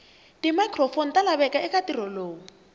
timicrophone talaveka ekantirho lowu